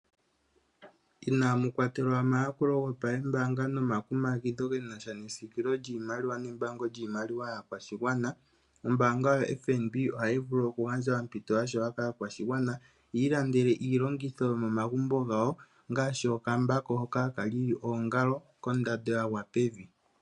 Inaamu kwatelwa omayakulo gopambaanga nomakumagidho ge na sha nesiikililo lyiimaliwa nembaango lyiimaliwa yaakwashigwana, ombaanga yoFNB ohayi vulu okugandja ompito ya shewa kaakwashigwana yi ilandele iilongitho yomomagumbo gawo ngaashi okambako hoka haka lili oongalo kondando ya gwa pevi.